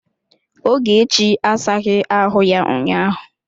Ogechi asaghi ahụ ya ụnyaahụ.